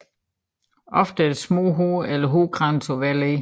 Ofte er der små hår eller hårkranse på hvert led